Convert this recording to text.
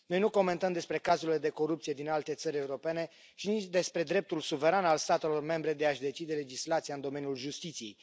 Noi nu comentăm despre cazurile de corupție din alte țări europene și nici despre dreptul suveran al statelor membre de a și decide legislația în domeniul justiției.